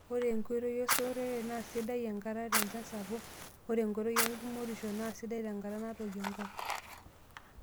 Ore enkoitoi esotore naa sidai nkata tenchan sapuk. Ore enkoitoi engumotisho naa sidai tenkata naatoyio enkop.